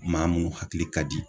Maa munnu hakili ka di